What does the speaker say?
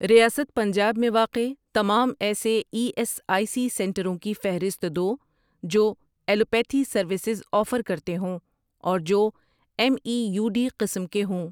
ریاست پنجاب میں واقع تمام ایسے ای ایس آئی سی سنٹروں کی فہرست دو جو ایلوپیتھی سروسز آفر کرتے ہوں اور جو ایم ای یو ڈی قسم کے ہوں۔